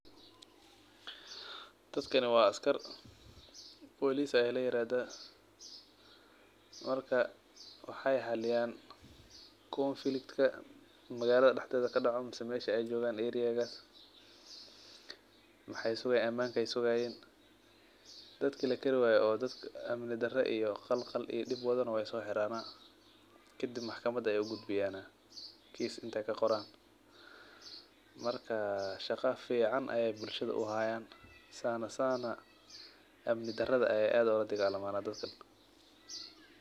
Dadkani wa askar police aya layirahda marka wexey xaliyan conflict kadaca wexey sugayin amanka dadka lakari wayo oo amanka qalqalgaliyo nah wey soxiran kadibna maxkamada ayey ugudbiyan kiiis intey kaqoran marka shaqo fican ayey bulshada uhayan oo amni darada ayey aad uladagalaman dadka.